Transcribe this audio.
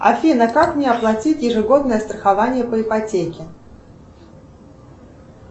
афина как мне оплатить ежегодное страхование по ипотеке